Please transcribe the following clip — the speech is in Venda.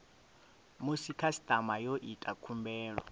musi khasitama yo ita khumbelo